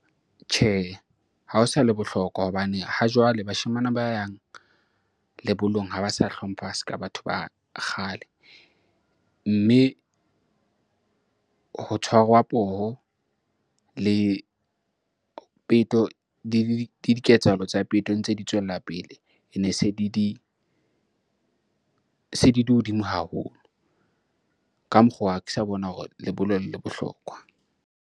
Tjhe, ha ho sa le bohlokwa hobane ha jwale bashemane ba yang lebollong ha ba sa hlompha se ka batho ba kgale. Mme ho tshwarwa poho le peto, le diketsahalo tsa peto ntse di tswella pele, ene se di di hodimo haholo. Ka mokgwa ha ke sa bona hore lebollo le bohlokwa.